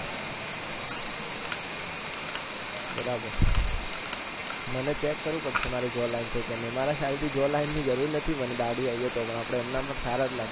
બરાબર મને check કરવું પડશે મારે જો line છે કે નહી મારા ખ્યાલ થી જો line ની જરૂર નથી મને ડાઢીઆવી જાય તો આપણે એમનામ પણ સારા લાગીએ